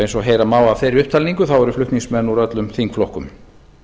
eins og heyra má af þeirri upptalningu eru flutningsmenn úr öllum þingflokkum